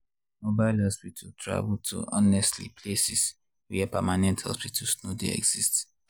mobile hospital travel to honestly places where permanent hospitals no dey exist.